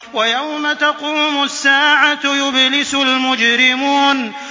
وَيَوْمَ تَقُومُ السَّاعَةُ يُبْلِسُ الْمُجْرِمُونَ